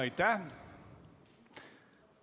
Aitäh!